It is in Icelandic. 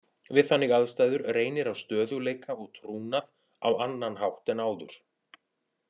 Við þannig aðstæður reynir á stöðugleika og trúnað á annan hátt en áður.